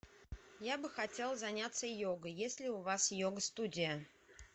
я бы хотел заняться йогой есть ли у вас йога студия